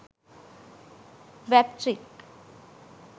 wap trick